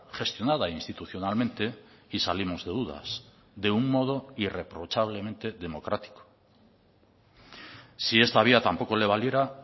gestionada institucionalmente y salimos de dudas de un modo irreprochablemente democrático si esta vía tampoco le valiera